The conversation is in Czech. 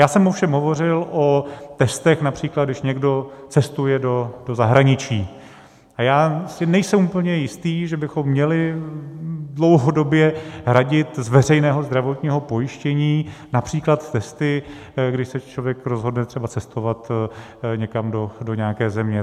Já jsem ovšem hovořil o testech, například když někdo cestuje do zahraničí, a já si nejsem úplně jist, že bychom měli dlouhodobě hradit z veřejného zdravotního pojištění například testy, kdy se člověk rozhodne třeba cestovat někam do nějaké země.